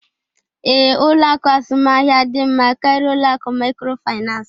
Ee, ụlọ akụ azụmaahịa dị mma karịa ụlọ akụ microfinance